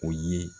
O ye